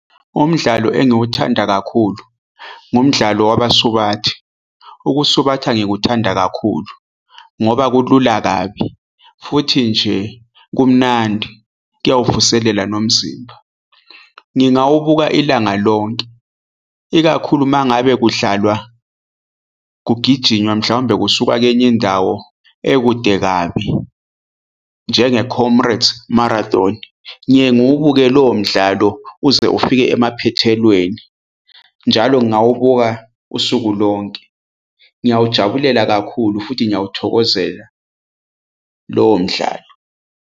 Umdlalo engiwuthanda kakhulu ngumdlalo wabasubathi ukusubhatha ngikuthanda kakhulu ngoba kulula kabi futhi nje kumnandi kuyawuvuselela nomzimba. Ngingawubuka ilanga lonke ikakhulu mangabe kudlalwa kugijinywa mhlambe kusukwa kwenye indawo ekude kabi njenge-Comrades Marathon. Ngiye ngiwubuke lowo mdlalo uze ufike emaphethelweni, njalo ngawubuka usuku lonke ngiyawujabulela kakhulu futhi ngiyawuthokozela lowo mdlalo.